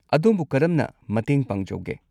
ꯑꯗꯣꯝꯕꯨ ꯀꯔꯝꯅ ꯃꯇꯦꯡ ꯄꯥꯡꯖꯧꯒꯦ?